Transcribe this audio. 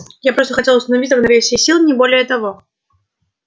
я просто хотел установить равновесие сил не более того